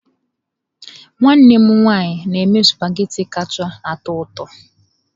Nwanne m nwanyị na-eme sụpaghetị kacha atọ ụtọ.